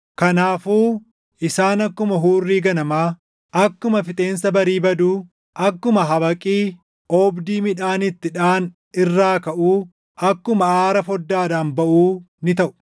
Kanaafuu isaan akkuma hurrii ganamaa, akkuma fixeensa barii baduu, akkuma habaqii oobdii midhaan itti dhaʼan irraa kaʼuu akkuma aara foddaadhaan baʼuu ni taʼu.